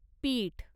पीठ